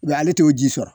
Wa ale t'o ji sɔrɔ